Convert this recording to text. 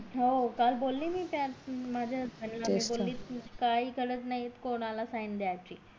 हो काल बोली मी त्याना माझ्या नवऱ्याला काही गरज नाही कोणाला sign दायची